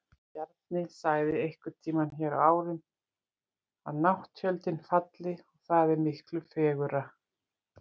Bjarni sagði einhverntíma hér á árunum að nátttjöldin falli, og það er miklu fegurra.